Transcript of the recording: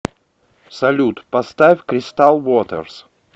салют поставь кристал вотерс